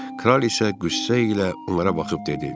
Kral isə qüssə ilə onlara baxıb dedi.